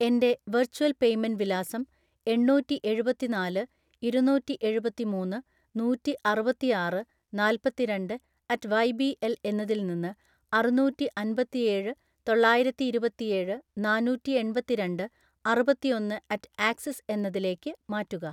എൻ്റെ virtual payment വിലാസം എണ്ണൂറ്റിഎഴുപത്തിനാല് ഇരുനൂറ്റിഎഴുപത്തിമൂന്ന് നൂറ്റിഅറുപത്തിആറ് നാല്പത്തിരണ്ട്‍ അറ്റ് വൈ ബി എൽ എന്നതിൽ നിന്ന് അറുനൂറ്റിഅൻപത്തിഏഴ് തൊള്ളായിരത്തിഇരുപത്തിഏഴ് നാന്നൂറ്റിഎൺപത്തിരണ്ട്‍ അറുപത്തിഒന്ന് അറ്റ് ആക്സിസ് എന്നതിലേക്ക് മാറ്റുക